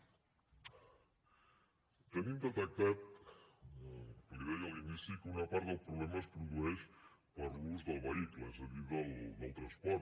tenim detectat li ho deia a l’inici que una part del problema es produeix per l’ús del vehicle és a dir pel transport